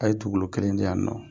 A' ye tugu kelen di yan ninnɔ.